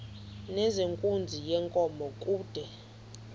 nezenkunzi yenkomo kude